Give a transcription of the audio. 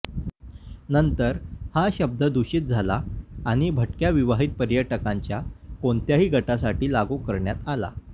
नंतर हा शब्द दूषित झाला आणि भटक्या विवाहित पर्यटकांच्या कोणत्याही गटासाठी लागू करण्यात आला